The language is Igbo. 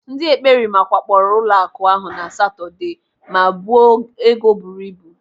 Ndị ekperima wakporo ụlọaku ahụ na Satọde ma buo ego buru ibu.